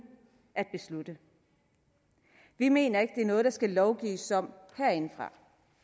at beslutte vi mener ikke det er noget der skal lovgives om herindefra